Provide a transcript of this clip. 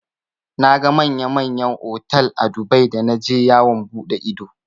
Naga manya manyan otal a Dubai da naje yawon buɗe ido.